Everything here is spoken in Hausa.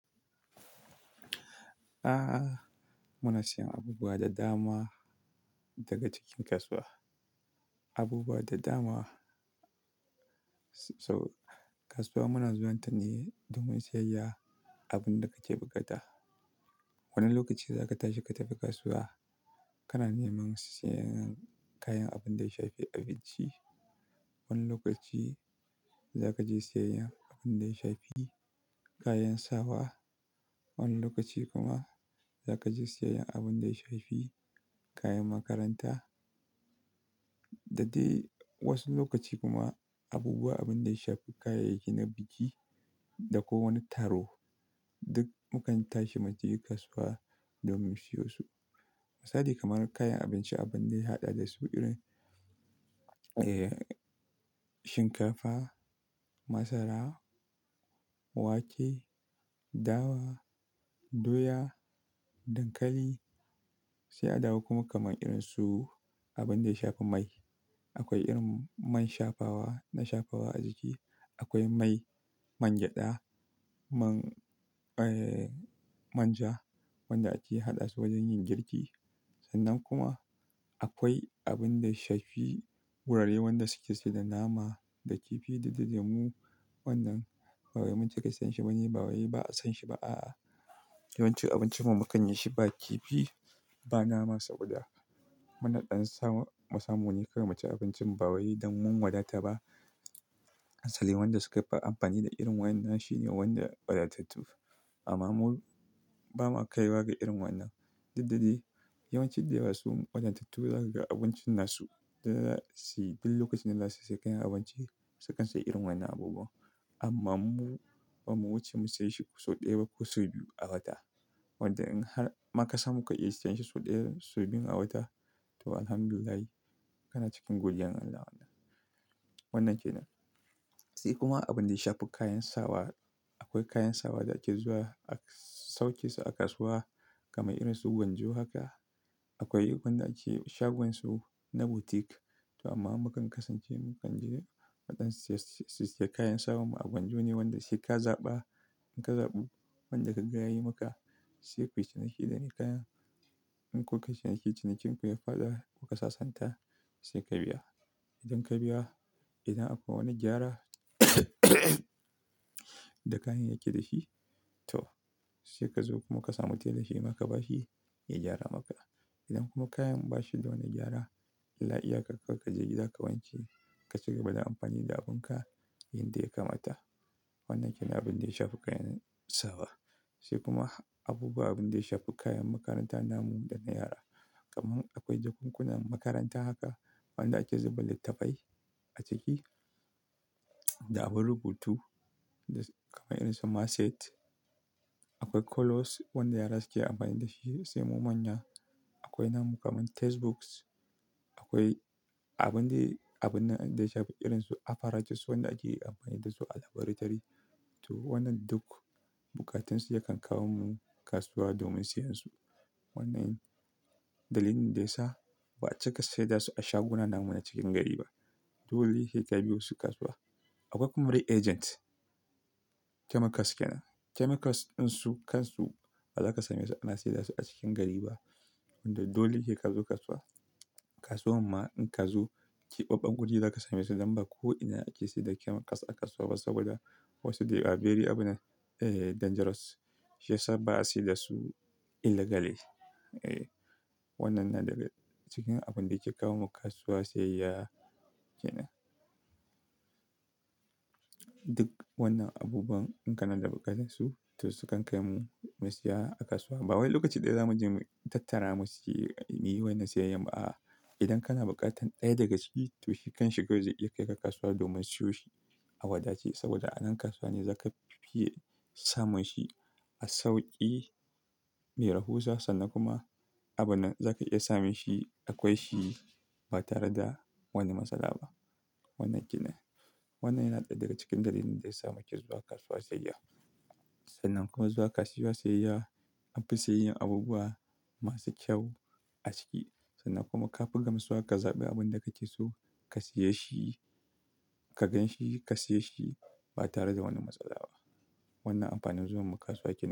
A'a, muna siyan abubuwa da dama daga cikin kasuwa. Abubuwa da dama. Sau-- kasuwa muna zuwan ta ne domin siyayya abin da kake buƙata. Wani lokaci za ka tashi ka tafi kasuwa, kana neman sayan kayan abin da ya shafi abinci. Wani lokaci za ka je siyayyar abin da ya shafi kayan sawa. Wani lokaci kuma za ka je siyayyar abin da ya shafi kayan makaranta. Da dai wasu lokaci kuma abubuwa abin da ya shafi kayayyaki na biki da ko wani taro, duk mukan tashi mu je kasuwa domin siyo su. Misali kamar kayan abinci, abin da ya haɗa da su irin. Shinkafa, masara, wake, dawa, doya, dankali, sai a dawo kuma kamar irin su abinda ya shafi mai. Akwai irin man shafawa na shafawa a jiki. Akwai mai man gyada, man, eh, manja wanda ake haɗa su wajen yin girki. Sannan kuma akwai abin da ya shafi wurare wanda suke sai da nama da kifi da, da lemu. Wannan ba wai mun cika siyan shi ba ne, ba wai ba a san shi ba a'a. Yawanci abincin mu mu kanyi shi ba kifi ba nama saboda mu na ɗan sa mu samu ne kawai mu ci abincin ba wai don mun wadata ba. Asali wanda suka fi amfani da irin waƴannan shine wanda wadatattu. Amma mu ba ma kaiwa ga irin wannan. Duk da dai yawanci dai wasu wadatattun za ka ga abincin nasu. Idan za su duk lokacin da za su saya kayan abinci, su kan sayi irin waƴannan abubuwan. Amma mu, ba mu wuce mu saye shi sau ɗaya ba ko sau biyu a wata. Wanda in har ma ka samu ka iya siyan shi sau ɗaya, sau biyun a wata to Alhamdulillahi kana cikin godiyan Allah. Wannan kenan. Sai kuma abin da ya shafi kayan sawa. Akwai kayan sawa da ake zuwa a sauke su a kasuwa kamar irin su gwanjo haka. Akwai wanda ake shagon su na boutique. To amma mu kan kasance mu kan je mu ɗan siyars, sissiya kayan sawan mu a gwanjo ne wanda sai ka zaɓa. In ka zaɓi wanda ka ga yayi maka, sai ku yi ciniki da me kayan. In kukai ciniki, cinikin ku ya faɗa, ku kasasanta sai ka biya. Idan ka biya, idan akwai wani gyara da kayan yake dashi to sai ka zo kuma ka samu tela shi ma ka bashi ya gyara maka. Idan kuma kayan ba shi da wani gyara, illa iyaka kawai ka je gida ka wanke ka cigaba da amfani da abin ka yanda ya kamata. Wannan kenan abin da ya shafi kayan sawa. Sai kuma abubuwa abunda ya shafi kayan makaranta namu da na yara. Kaman akwai jakunkunan makaranta haka wanda ake zuba littattafai a ciki da abin rubutu kamar irin su maset. Akwai colours wanda yara suke amfani dashi sai mu manya. Akwai namu kaman textbooks. Akwai abin da abin da ya shafi irin su apparatus wanda ake amfani dasu a laboratori. To wannan duk buƙatun su yakan kawo mu kasuwa domin siyan su. Wannan dalilin da ya sa ba a cika saida su a shaguna namu na cikin gari ba. Dole sai ka biyo su kasuwa. Akwai kuma dai agent chemicals kenan. Chemicals ɗin su kansu ba za ka same su ana saidas u a cikin gari ba. Wanda dole sai ka zo kasuwa. Kasuwan ma in kana zo keɓaɓɓan guri za ka samesu dan ba ko ina ake saida chemicals a kasuwa ba saboda wasu they are very abin nan, dangerous. Yasa ba a saida su illegally. Wannan na daga cikin abin da yake kawo mu kasuwa siyayya kenan. Duk wannan abubuwan in kana da buƙatar su, to su kan kai mu mu siya a kasuwa. Ba wai lokaci ɗaya za mu je mu tattara mu siyi miye wannan siyayyar ba a'a. Idan kana buƙatar ɗaya daga ciki to shi kanshi kawai zai iya kai ka kasuwa domin siyo shi. A wadace saboda a nan kasuwa ne za ka fiye samun shi a sauƙi, mai rahusa sannan kuma abun nan za ka iya samun shi akwai shi ba tare da wani matsala ba. Wannan kenan. Wannan yana ɗaya daga cikin dalilin da yasa muke zuwa kasuwa siyayya. Sannan kuma zuwa kasuwa siyayya, anfi siyayyan abubuwa masu kyau a ciki sannan kuma ka fi gamsuwa ka zaɓi abun da kake so ka siye shi. Ka ganshi ka siye shi ba tare da wani matsala ba. Wannan amfanin zuwan mu kasuwa kenan.